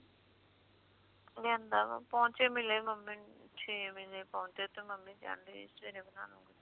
ਲਿਆਂਦਾ ਵਾ ਪੌਚੇ ਮਿਲੇ ਮੰਮੀ ਨੂੰ ਛੇ ਮਿਲੇ ਪੌਚੇ ਤੇ ਮੰਮੀ ਕਹਿਣ ਦੇ ਸਵੇਰੇ ਬਣਾਲਾ